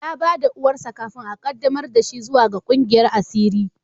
Ya ba da uwarsa kafin a qaddamar da shi zuwa ga kungiyar asiri.